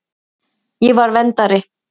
Ég var verndari.